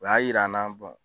O y'a yir'an na